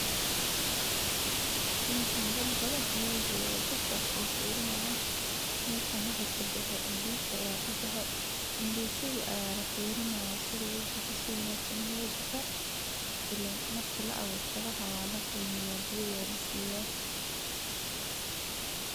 meshan dad badha ayaa joga dadkas oo firinayaan mesha waxi kabaxey indisi ayaa kabaxey, indiisiga ayaa lafiirinaya sidhuu ubaxey, si wanaagsan in uu ubaxey ileen marki laaburto waxa waa laqrmiiya biyo ayaa lasiiya